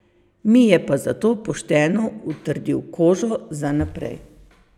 Mi je pa zato pošteno utrdil kožo za naprej.